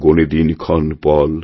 গোণে দিনক্ষণপল